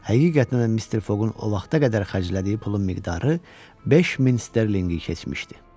Həqiqətən də Mister Foqun o vaxta qədər xərclədiyi pulun miqdarı 5000 sterlinqi keçmişdi.